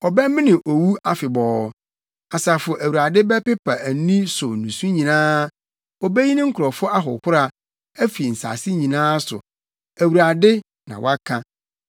Ɔbɛmene owu afebɔɔ. Asafo Awurade bɛpepa ani so nusu nyinaa. Obeyi ne nkurɔfo ahohora, afi nsase nyinaa so. Awurade, na waka.